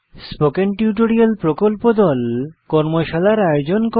spoken tutorial প্রকল্প দল কর্মশালার আয়োজন করে